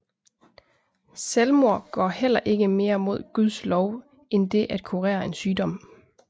Selvmord går heller ikke mere mod Guds lov end det at kurere en sygdom